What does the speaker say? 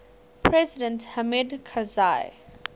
president hamid karzai